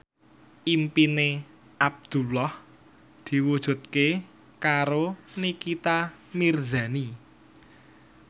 impine Abdullah diwujudke karo Nikita Mirzani